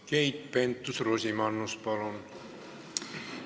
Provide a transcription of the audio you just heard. Keit Pentus-Rosimannus, palun!